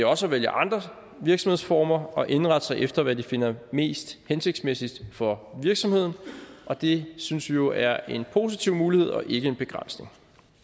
også at vælge andre virksomhedsformer og indrette sig efter hvad de finder mest hensigtsmæssigt for virksomheden og det synes vi jo er en positiv mulighed og ikke en begrænsning